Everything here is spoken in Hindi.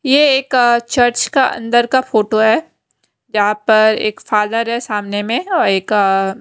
ये एक चर्च का अंदर का फोटो है यहां पर एक फादर है सामने में और एक।